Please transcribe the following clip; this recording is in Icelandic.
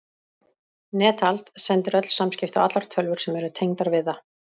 Netald sendir öll samskipti á allar tölvur sem eru tengdar við það.